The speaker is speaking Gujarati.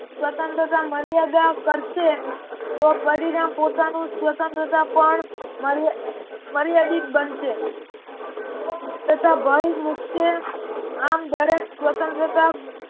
સ્વતંત્રતા મર્યાદા કરશે તો પરિણામ પોતાનું સ્વતંત્રતા પણ માર્યાદિત બનશે તથા ભય મુકશે આમ દરેક સ્વતંત્રતા